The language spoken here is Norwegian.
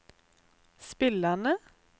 spillerne